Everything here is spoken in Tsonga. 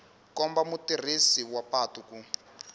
komba mutirhisi wa patu ku